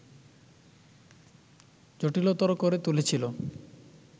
জটিলতর করে তুলেছিল